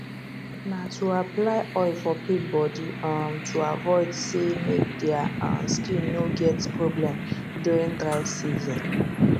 na too apply oil for pig body um to avoid sey make dia um skin no get problem during dry season